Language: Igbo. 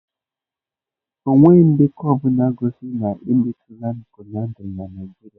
Enweghị ndekọ ọ bụla gosiri na a na-emetụla pọlyndrị na Nigeria.